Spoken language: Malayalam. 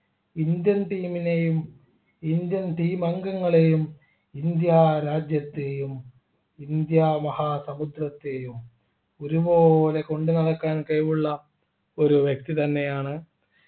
indian team നെയും indian team അംഗങ്ങളെയും ഇന്ത്യ രാജ്യത്തെയും ഇന്ത്യ മഹാസമുദ്രത്തെയും ഒരുപോലെ കൊണ്ട് നടക്കാൻ കഴിവുള്ള ഒരു വ്യക്തി തന്നെയാണ്